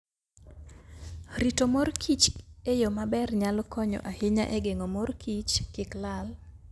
Rito mor kich e yo maber nyalo konyo ahinya e geng'o mor kich kik lal.